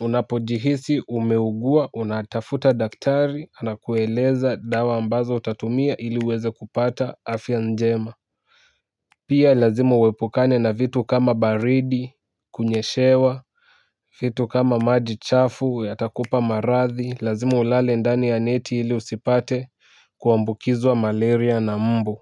unapojihisi umeugua unatafuta daktari anakueleza dawa ambazo utatumia iliweze kupata afya njema. Pia lazima uwepukane na vitu kama baridi kunyeshewa. Vitu kama maji chafu yatakupa marathi lazima ulale ndani ya neti ili usipate kuambukizwa malaria na mbu.